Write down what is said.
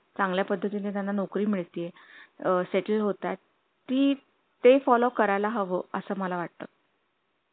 चांगल्या पद्धतीने त्यांना नोकरी मिळती ये आह settle होतात ती ते follow करायला हवं असं मला वाटतं